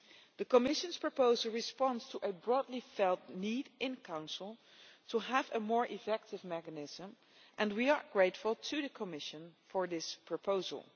The Commission's proposal responds to a broadly felt need in the Council to have a more effective mechanism and we are grateful to the Commission for this proposal.